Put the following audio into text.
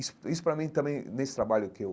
Isso isso para mim também, nesse trabalho que eu